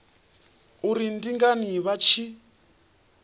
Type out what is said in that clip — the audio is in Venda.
uri ndi ngani vha tshi